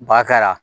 Ba kɛra